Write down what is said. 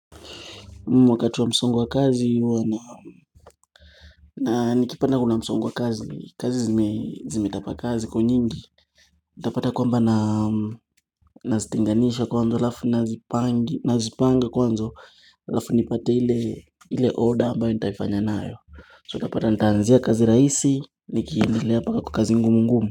Wakati wa msongo wa kazi huwa na nikipanda kuna msongo wa kazi, kazi zimetapa kazi ziko nyingi Itapata kwamba na zitenganisha kwanzo alafu nazipanga kwanzo lafu nipate ile order ambayo nitaifanya nayo So itapata nitaanzia kazi raisi, nikiindilea paka kwa kazi ngumu ngumu.